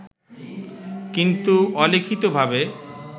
কিন্তু অলিখিতভাবে